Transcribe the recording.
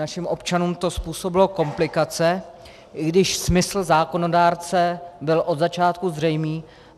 Našim občanům to způsobilo komplikace, i když smysl zákonodárce byl od začátku zřejmý.